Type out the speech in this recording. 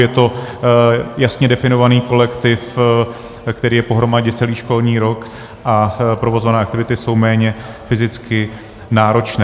Je to jasně definovaný kolektiv, který je pohromadě celý školní rok, a provozované aktivity jsou méně fyzicky náročné.